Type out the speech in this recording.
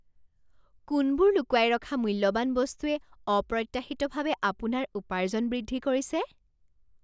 কোনবোৰ লুকুৱাই ৰখা মূল্যৱান বস্তুৱে অপ্ৰত্যাশিতভাৱে আপোনাৰ উপাৰ্জন বৃদ্ধি কৰিছে?